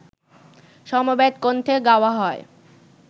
সমবেত কণ্ঠে গাওয়া হয়